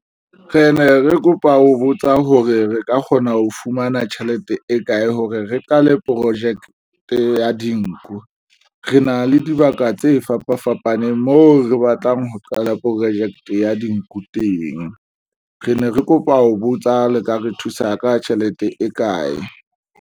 Re ne re kopa ho botsa hore re ka kgona ho fumana tjhelete e kae hore re qale projeke ya dinku. Re na le dibaka tse fapafapaneng mo re batlang ho qala projeke ya dinku teng re ne re kopa ho botsa le ka re thusa ka tjhelete e kae?